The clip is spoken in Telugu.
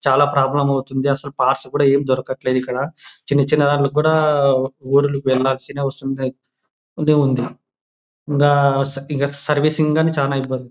చాలా ప్రోబ్ల్యూమ్ అవుతుంది అసలు పాస్ కూడా ఎం దొరకట్లేదు. ఇక్కడ చిన్న చిన్న లకు కూడా ఊరికే వస్తున్నాయి వస్తుంది. ద ఇగ సర్వీసింగ్ గాని చానా ఇబ్బంది.